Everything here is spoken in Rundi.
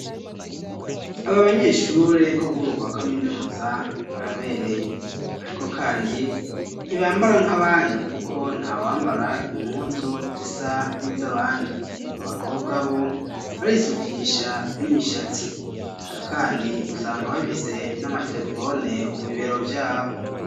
Aba banyeshure, bo ku rwego rwa kaminuza, barabereye; ariko kandi, ntibambara nk'abandi, kuko, nta wambara impuzu, zisa n'iz'abandi; abakobwa bo, barisukisha n'imishatsi; eka kandi, usanga bafise n'amaterefone, ku bibero vyabo.